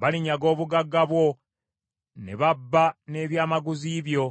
Balinyaga obugagga bwo ne babba n’ebyamaguzi byo;